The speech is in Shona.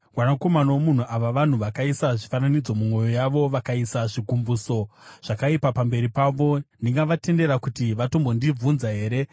“Mwanakomana womunhu, ava vanhu vakaisa zvifananidzo mumwoyo yavo vakaisa zvigumbuso zvakaipa pamberi pavo. Ndingavatendera kuti vatombondibvunza here?